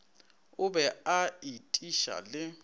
o be a etiša le